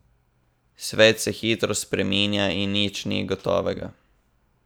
Svet se hitro spreminja in nič ni gotovega.